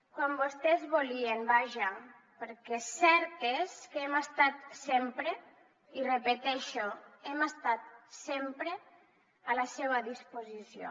quan vostès volien vaja perquè cert és que hem estat sempre i ho repeteixo hem estat sempre a la seva disposició